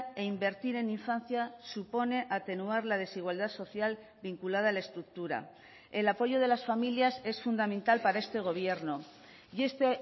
e invertir en infancia supone atenuar la desigualdad social vinculada a la estructura el apoyo de las familias es fundamental para este gobierno y este